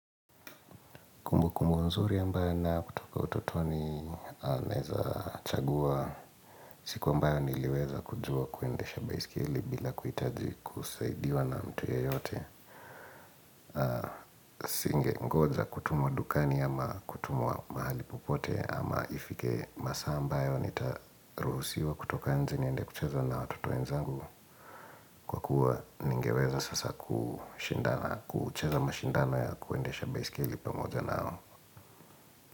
Kumbu kumbu nzuri ambaye ninayo kutoka utotoni naeza chagua. Siku ambayo niliweza kujua kuendesha baiskeli bila kuhitaji kusaidiwa na mtu yoyote. Singengoja kutumwa dukani ama kutumwa mahali popote ama ifike masaa ambayo nitaruhusiwa kutoka nje niende kucheza na watoto wenzangu. Kwa kuwa ningeweza sasa kushindana kucheza mashindano ya kuendesha baiskeli pamoja nao.